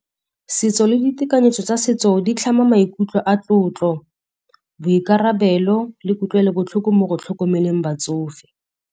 Setso le ditekanyetso tsa setso di tlhama maikutlo a tlotlo, boikarabelo le kutlwelobotlhoko mo go tlhokomeleng batsofe.